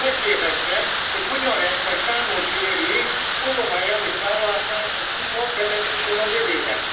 Megkérdeztem, hogy hogyan lehet majd számon kérni Obama elnök vállalását az USA vezetésén a jövőben?